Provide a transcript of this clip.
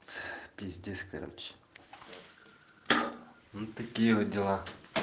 пиздец короче вот такие вот дела